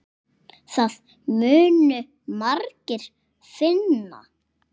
Það munu margir finna.